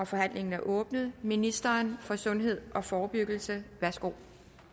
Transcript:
forhandlingen er åbnet ministeren for sundhed og forebyggelse værsgo